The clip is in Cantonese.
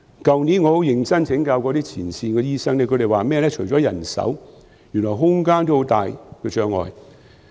去年我很認真請教前線醫生，他們說除了人手，原來空間也有很大障礙。